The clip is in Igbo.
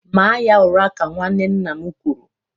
Maa ya ụra ka nwanne nna m kwụrụ